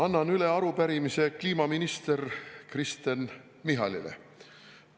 Annan üle arupärimise kliimaminister Kristen Michalile.